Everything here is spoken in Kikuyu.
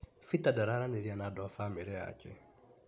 Peter ndararanĩria na andũ a bamĩrĩ yake.